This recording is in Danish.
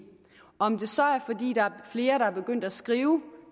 om det så er fordi der er flere der er begyndt at skrive